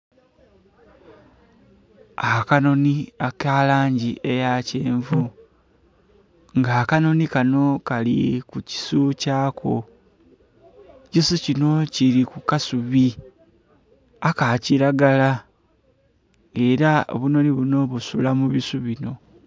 Akanhonhi akalangi aya kyenvu nga akanhonhi kano kali kukisu kyako ekisu kino kili ku kasubi akakilagara nga era obunhonhi buno busula mubisu bino